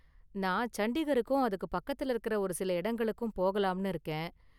நான் சண்டிகருக்கும் அதுக்கு பக்கத்துல இருக்குற ஒரு சில இடங்களுக்கும் போகலாம்னு இருக்கேன்.